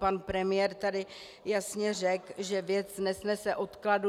Pan premiér tady jasně řekl, že věc nesnese odkladu.